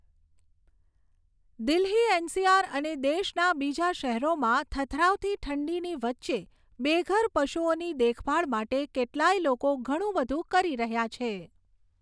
Delhi NCR અને દેશના બીજા શહેરોમાં થથરાવતી ઠંડીની વચ્ચે બેઘર પશુઓની દેખભાળ માટે કેટલાય લોકો, ઘણું બધું કરી રહ્યા છે.